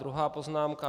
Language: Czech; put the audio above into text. Druhá poznámka.